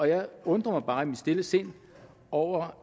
jeg undrer mig bare i mit stille sind over